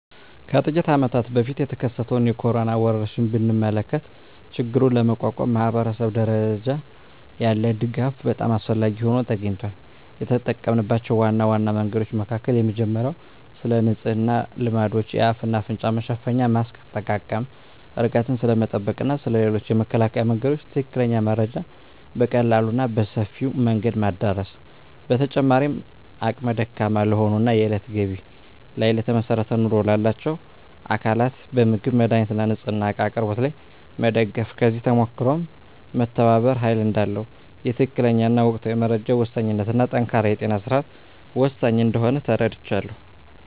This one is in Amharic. ከጥቂት አመታት በፊት የተከሰተውን የኮሮና ወረርሽኝ ብንመለከ ችግሩን ለመቋቋም ማኅበረሰብ ደረጃ ያለ ድጋፍ በጣም አስፈላጊ ሆኖ ተገኝቷል። የተጠምናቸው ዋና ዋና መንገዶች መካከል የመጀመሪያው ስለንጽህና ልማዶች፣ የአፍ እና አፍንጫ መሸፈኛ ማስክ አጠቃቀም፣ ርቀትን ስለመጠበቅ እና ስለ ሌሎችም የመከላከያ መንገዶች ትክክለኛ መረጃ በቀላሉ እና በሰፊው መንገድ ማዳረስ። በተጨማሪም አቅመ ደካማ ለሆኑ እና የእለት ገቢ ላይ ለተመሰረተ ኑሮ ላላቸው አካላት በምግብ፣ መድሃኒት እና ንፅህና እቃ አቅርቦት ላይ መደገፍ። ከዚህ ተሞክሮም መተባበር ኃይል እዳለው፣ የትክክለኛ እና ወቅታዊ መረጃ ወሳኝነት እና ጠንካራ የጤና ስርዓት ወሳኝ እንደሆነ ተረድቻለሁ።